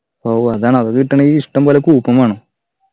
ഓഹ് അതാണ് അത് കിട്ടണെങ്കി ഇഷ്ടംപോലെ coupon വേണം